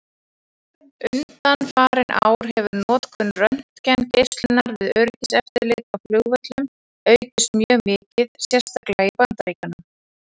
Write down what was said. Undanfarin ár hefur notkun röntgengeislunar við öryggiseftirlit á flugvöllum aukist mjög mikið, sérstaklega í Bandaríkjunum.